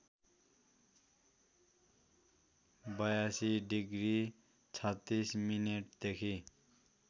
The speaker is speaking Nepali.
८२ डिग्री ३६ मिनेटदेखि